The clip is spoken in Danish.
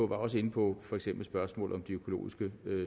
var også inde på for eksempel spørgsmålet om de økologiske